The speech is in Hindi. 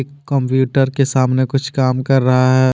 कंप्यूटर के सामने कुछ काम कर रहा है।